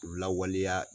Lawaleya